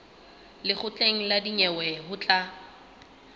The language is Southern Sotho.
lekgotleng la dinyewe ho tla